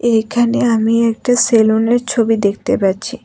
এখানে আমি একটা সেলুনের ছবি দেখতে পাচ্ছি।